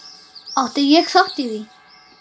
Átti ég þátt í því?